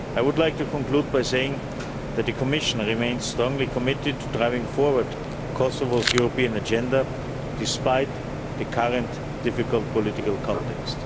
I would like to conclude by saying that the Commission remains strongly committed to driving forward Kosovo's European agenda despite the current difficult political context.